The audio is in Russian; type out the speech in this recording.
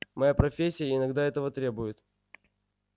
моя профессия иногда этого требует